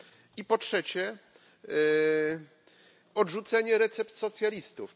i po trzecie, odrzucenie recept socjalistów.